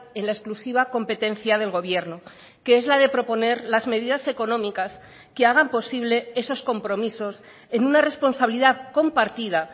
en la exclusiva competencia del gobierno que es la de proponer las medidas económicas que hagan posible esos compromisos en una responsabilidad compartida